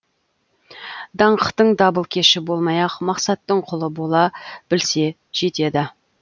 даңқтың дабылкеші болмай ақ мақсаттың құлы бола білсе жетеді